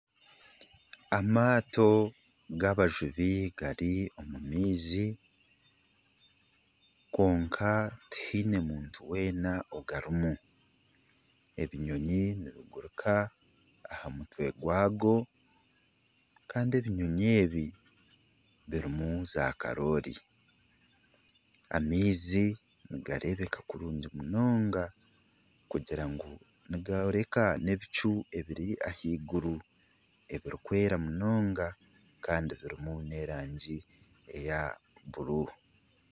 Amato g'abajubi gari omu maizi kwonka taine muntu weena ogarimu, ebinyonyi nibiguruka aha mutwe gwago, kandi ebinyonyi ebi birimu zaakaroori, amaizi nigareebeka kurungi munonga kugira ngu nigoreeka n'ebicu ebiri ahaiguru ebirikwera munonga kandi birimu n'erangi eya bururu